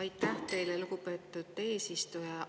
Aitäh teile, lugupeetud eesistuja!